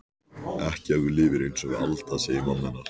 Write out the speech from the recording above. Ekki ef þú lifir einsog við Alda, segir mamma hennar.